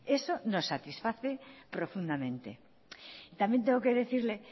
eso nos satisface profundamente también tengo que decirle